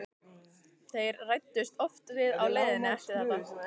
Þeir ræddust oft við á leiðinni eftir þetta.